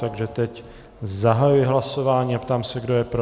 Takže teď zahajuji hlasování a ptám se, kdo je pro.